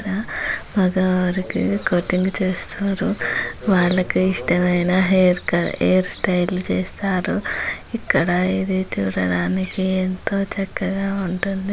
మగవారికి కటింగ్ చేస్తారు. వాళ్ళకు ఇష్టమైన హెయిర్ కట్ హెయిర్ స్టైల్ చేస్తారు. ఇక్కడ ఇది చూడడానికి ఎంతో చక్కగా ఉంటుంది.